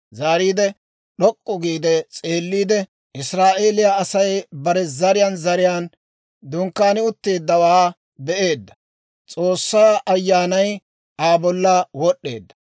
Yaatiide d'ok'k'u gi s'eelliide, Israa'eeliyaa Asay bare zariyaan zariyaan dunkkaani utteeddawaa be'eedda; S'oossaa Ayyaanay Aa bolla wod'd'eedda.